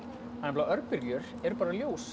nei örbylgjur eru bara ljós